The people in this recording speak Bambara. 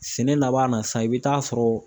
Sɛnɛ laban na sisan i bɛ taa sɔrɔ